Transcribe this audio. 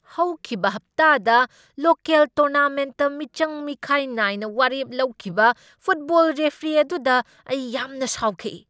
ꯍꯧꯈꯤꯕ ꯍꯞꯇꯥꯗ ꯂꯣꯀꯦꯜ ꯇꯣꯔꯅꯥꯃꯦꯟꯠꯇ ꯃꯤꯆꯪ ꯃꯤꯈꯥꯏ ꯅꯥꯏꯅ ꯋꯥꯔꯦꯞ ꯂꯧꯈꯤꯕ ꯐꯨꯠꯕꯣꯜ ꯔꯦꯐ꯭ꯔꯤ ꯑꯗꯨꯗ ꯑꯩ ꯌꯥꯝꯅ ꯁꯥꯎꯈꯤ ꯫